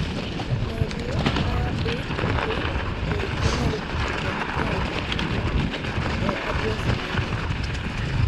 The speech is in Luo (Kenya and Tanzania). Medi abc e gmail, com e adres mara.